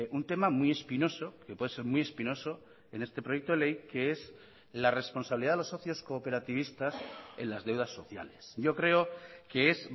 un tema muy espinoso que puede ser muy espinoso en este proyecto de ley que es la responsabilidad de los socios cooperativistas en las deudas sociales yo creo que es